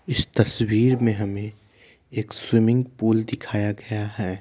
इस तस्वीर में हमें एक स्विमिंग पूल दिखाया गया है।